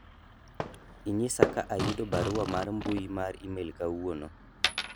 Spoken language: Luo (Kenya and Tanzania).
inyisa ka ayudo barua mar mbui mar email kawuono